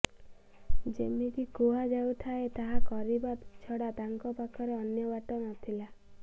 ଯେମିତି କୁହାଯାଉଥାଏ ତାହା କରିବା ଛଡ଼ା ତାଙ୍କ ପାଖରେ ଅନ୍ୟ ବାଟ ନଥିଲା